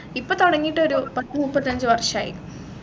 ഇപ്പൊ തൊടങ്ങീട്ടൊരു പത്തുമുപ്പത്തഞ്ചു വർഷായി